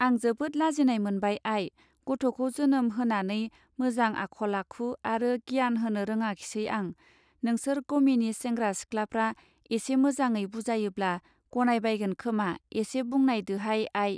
आं जोबोद लाजिनाय मोनबाय आई गथखौ जोनोम होनानै मोजां आखल आखु आरो गियान होनो रोङाखिसै आं! नोंसार गमिनि सेंग्रा सिख्लाफ्रा एसे मोजाङै बुजायोब्ला गनाय बायगोन खोमा एसे बुंनायदो हाय आई.